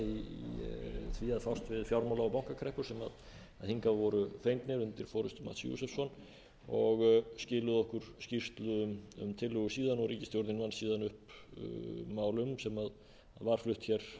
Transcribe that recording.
við fjármála og bankakreppur sem hingað voru fengnir undir forustu mætti josefsson og skiluðu okkur skýrslu um tillögur síðan og ríkisstjórnin vann síðan upp mál um sem var flutt hér fyrir